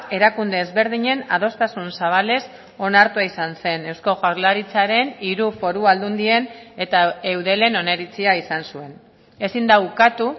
erakunde ezberdinen adostasun zabalez onartua izan zen eusko jaurlaritzaren hiru foru aldundien eta eudelen oniritzia izan zuen ezin da ukatu